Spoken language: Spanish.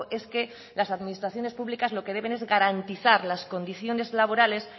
es que las administraciones públicas lo que deben es garantizar las condiciones laborales